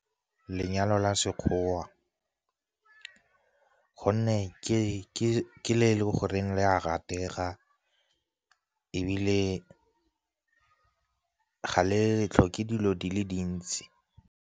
Lenyalo la Sekgowa, gonne ke le e le goreng le a ratega ebile ga le tlhoke dilo di le dintsi.